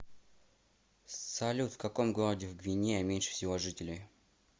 салют в каком городе в гвинея меньше всего жителей